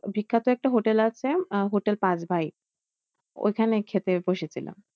বিখ্যাত একটা হোটেল আছে আহ হোটেল পাঁচ ভাই, ঐখানে খেতে বসে ছিলাম।